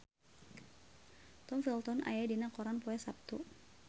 Tom Felton aya dina koran poe Saptu